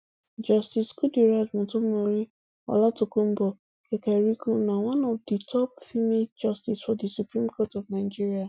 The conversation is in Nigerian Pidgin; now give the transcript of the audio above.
justice justice kudirat motonmori olatokunbo kekereekun na one of di top female justices for di supreme court of nigeria